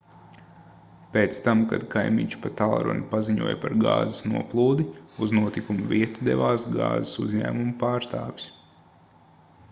pēc tam kad kaimiņš pa tālruni paziņoja par gāzes noplūdi uz notikuma vietu devās gāzes uzņēmuma pārstāvis